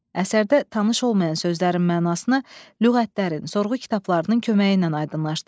Əsərdə tanış olmayan sözlərin mənasını lüğətlərin, sorğu kitablarının köməyi ilə aydınlaşdırın.